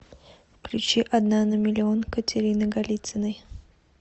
включи одна на миллион катерины голицыной